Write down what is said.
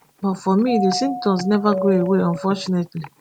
but for me di symptoms neva go away unfortunately